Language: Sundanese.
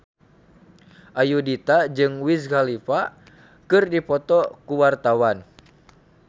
Ayudhita jeung Wiz Khalifa keur dipoto ku wartawan